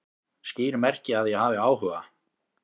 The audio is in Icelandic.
Skýr merki að ég hafi áhuga